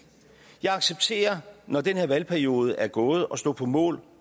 jeg accepterer når den her valgperiode er gået at stå på mål